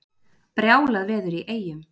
Brjálað veður í Eyjum